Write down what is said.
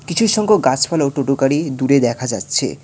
কিছু সংখ্যক গাসপালা ও টোটো গাড়ি দূরে দেখা যাচ্ছে।